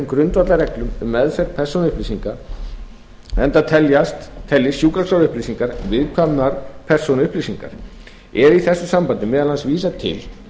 grundvallarreglum um meðferð persónuupplýsinga enda teljist sjúkraskrárupplýsingar viðkvæmar persónuupplýsingar er í þessu sambandi meðal annars vísað til